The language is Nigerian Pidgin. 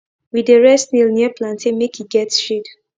we dey rear snail near plantain make e get shade